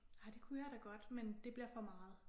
Ah det kunne jeg da godt men det bliver for meget